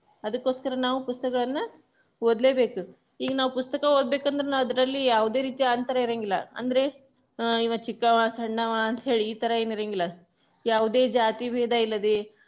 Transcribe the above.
ಅದಕ್ಕೋಸ್ಕರ ನಾವ್ ಪುಸ್ತಕಗಳನ್ನ ಓದ್ಲೇಬೇಕು, ಈಗ ನಾವ್ ಪುಸ್ತಕ ಓದ್ಬೇಕಂದ್ರೆ ನಾ ಅದ್ರಲ್ಲಿ ಯಾವದೇ ರೀತಿ ಅಂತರ ಇರಂಗಿಲ್ಲಾ, ಅಂದ್ರೆ ಇವಾ ಚಿಕ್ಕವಾ ಸಣ್ಣವಾ ಅಂತೇಳಿ ಈತರ ಏನ್ ಇರಂಗಿಲ್ಲಾ ಯಾವುದೇ ಜಾತಿ ಭೇದ ಇಲ್ಲದೆ.